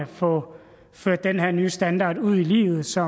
få ført den her nye standard ud i livet så